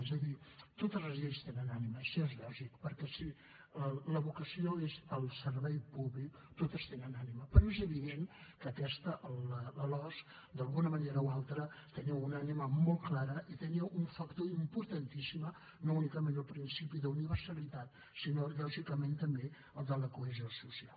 és a dir totes les lleis tenen ànima això és lògic perquè si la vocació és el servei públic totes tenen ànima però és evident que aquesta la losc d’alguna manera o altra tenia una ànima molt clara i tenia un factor importantíssim no únicament el principi d’universalitat sinó lògicament també el de la cohesió social